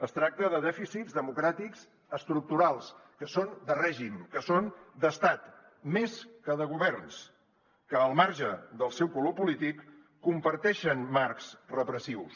es tracta de dèficits democràtics estructurals que són de règim que són d’estat més que de governs que al marge del seu color polític comparteixen marcs repressius